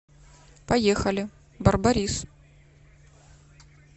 поехали барбарис